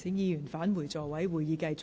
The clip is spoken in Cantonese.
請議員返回座位，現在會議繼續。